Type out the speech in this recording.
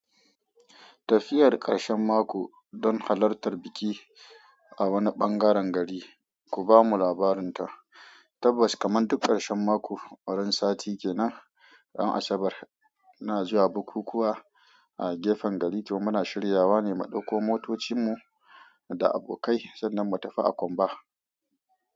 Tafiyar ƙarshen mako don halartar biki a wani ɓangaren gari, ku bamu labarin ta. Tabbas, kaman duk ƙarshen mako, wurin sati ke nan, ran Asabar ina zuwa bukukuwa a gefen gari to muna shiryawa ne mu ɗauko motocinmu da abokai sannan mu tafi a komba.